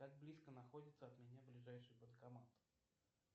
как близко находится от меня ближайший банкомат